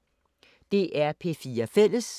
DR P4 Fælles